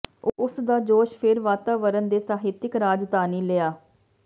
ਉਸ ਦਾ ਜੋਸ਼ ਫਿਰ ਵਾਤਾਵਰਨ ਦੇ ਸਾਹਿਤਕ ਰਾਜਧਾਨੀ ਲਿਆ